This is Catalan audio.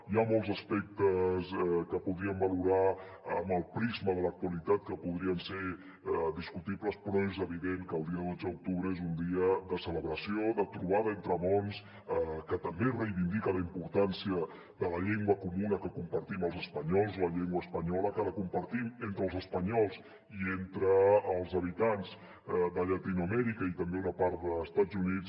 hi ha molts aspectes que podríem valorar amb el prisma de l’actualitat que podrien ser discutibles però és evident que el dia dotze d’octubre és un dia de celebració de trobada entre mons que també reivindica la importància de la llengua comuna que compartim els espanyols la llengua espanyola que compartim entre els espanyols i entre els habitants de llatinoamèrica i també una part d’estats units